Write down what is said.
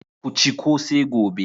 Ku ci kose gobe.